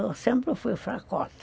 Eu sempre fui fracota.